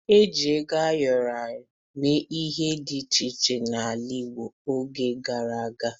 E ji ego ayọrọ mee ihe dị iche iche n'ala Igbo n'oge gara aga.